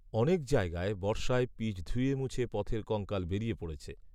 অনেক জায়গায় বর্ষায় পিচ ধুয়েমুছে পথের কঙ্কাল বেরিয়ে পড়েছে